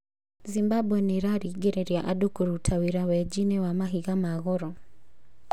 Zimbabwe 'nĩĩraringĩrĩria' andũ kũruta wĩra wenji-inĩ wa mahiga ma goro